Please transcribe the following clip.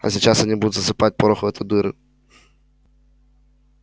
а сейчас они будут засыпать порох в эту дыру